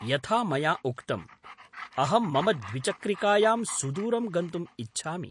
यथा मया उक्तम्, अहं मम द्विचक्रिकायां सुदूरं गन्तुम् इच्छामि।